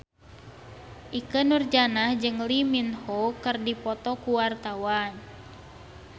Ikke Nurjanah jeung Lee Min Ho keur dipoto ku wartawan